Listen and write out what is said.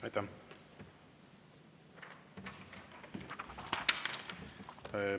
Aitäh!